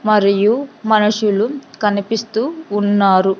మరియు మనుషులు కనిపిస్తూ ఉన్నారు.